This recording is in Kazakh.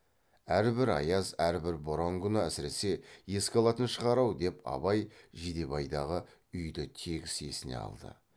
әрбір аяз әрбір боран күні әсіресе еске алатын шығар ау деп абай жидебайдағы үйді тегіс есіне алды